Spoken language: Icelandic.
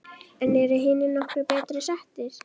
En eru hinir nokkru betur settir?